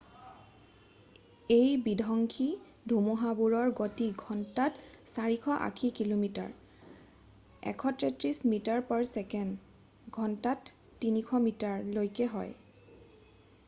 এই বিধংসী ধুমুহাবোৰৰ গতি ঘণ্টাত 480 কিমি. 133 মি./ছে.; ঘণ্টাত 300 মি. লৈকে হয়।